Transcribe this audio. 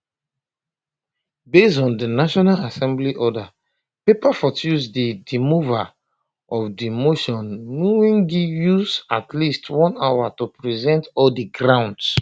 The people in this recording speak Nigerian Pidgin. based on di national assembly order paper for tuesday di mover of di motion mwengi use at least one hour to present all di grounds